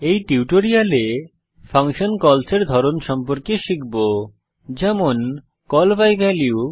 এই টিউটোরিয়ালে function calls এর ধরণ সম্পর্কে শিখব যেমন কল বাই ভ্যালিউ